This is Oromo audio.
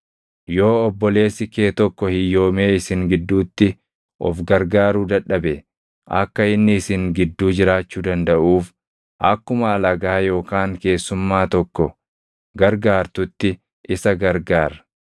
“ ‘Yoo obboleessi kee tokko hiyyoomee isin gidduutti of gargaaruu dadhabe, akka inni isin gidduu jiraachuu dandaʼuuf akkuma alagaa yookaan keessummaa tokko gargaartutti isa gargaar.